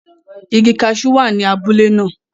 Igi cashew wa ni abule naa